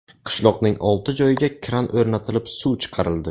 Qishloqning olti joyiga kran o‘rnatilib suv chiqarildi.